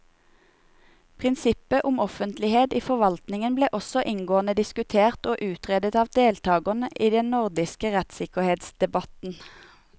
Prinsippet om offentlighet i forvaltningen ble også inngående diskutert og utredet av deltakerne i den nordiske rettssikkerhetsdebatten.